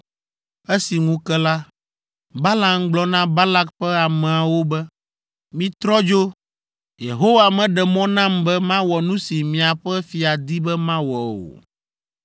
Esi ŋu ke la, Balaam gblɔ na Balak ƒe ameawo be, “Mitrɔ dzo! Yehowa meɖe mɔ nam be mawɔ nu si miaƒe fia di be mawɔ o.”